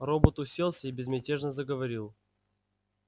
робот уселся и безмятежно заговорил